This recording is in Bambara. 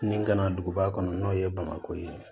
Min kana duguba kɔnɔ n'o ye bamakɔ ye